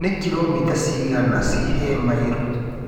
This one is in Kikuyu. Nĩ kĩromita cigana cĩi he mairo??